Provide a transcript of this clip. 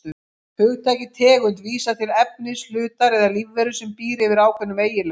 Hugtakið tegund vísar til efnis, hlutar eða lífveru sem býr yfir ákveðnum eiginleikum.